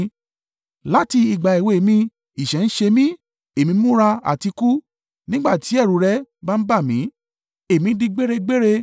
Láti ìgbà èwe mi, ìṣẹ́ ń ṣẹ́ mi, èmi múra àti kú; nígbà tí ẹ̀rù rẹ bá ń bà mí, èmi di gbére-gbère.